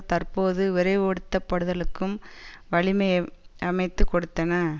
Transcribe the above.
தற்போது விரைவுபடுத்த படுத்தலுக்கும் வழிமை அமைத்து கொடுத்தன